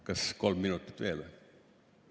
Kas kolm minutit veel või?